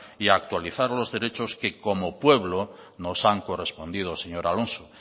y actualizar los derechos que como pueblo nos han correspondido señor alonso